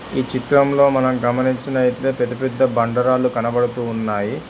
ఈ చిత్రంలో మనం గమనించినట్లయితే పెద్ద పెద్ద బండరాళ్లు కనబడుతూ ఉన్నాయి.